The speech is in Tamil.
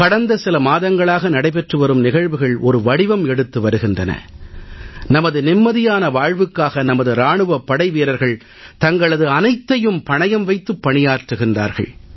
கடந்த சில மாதங்களாக நடைபெற்று வரும் நிகழ்வுகள் ஒரு வடிவம் எடுத்து வருகின்றன நமது நிம்மதியான வாழ்வுக்காக நமது இராணுவப் படைவீரர்கள் தங்களது அனைத்தையும் பணயம் வைத்துப் பணியாற்றுகிறார்கள்